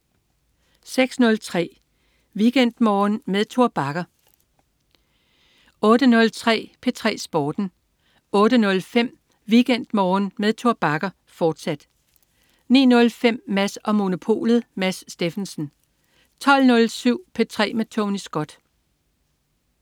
06.03 WeekendMorgen med Tor Bagger 08.03 P3 Sporten 08.05 WeekendMorgen med Tor Bagger, fortsat 09.05 Mads & Monopolet. Mads Steffensen 12.07 P3 med Tony Scott